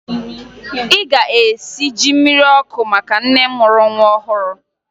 Ị ga-esi ji mmiri ọkụ maka nne mụrụ nwa ọhụrụ!